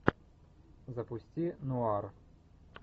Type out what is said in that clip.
запусти нуар